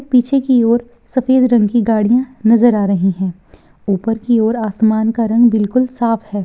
पीछे की ओर सफ़ेद रंग की गाड़ियाँ नज़र आ रही है। ऊपर की ओर आसमान का रंग बिलकुल साफ़ है।